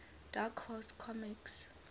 dark horse comics